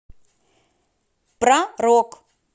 про рок